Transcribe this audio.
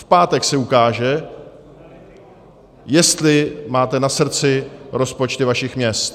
V pátek se ukáže, jestli máte na srdci rozpočty vašich měst.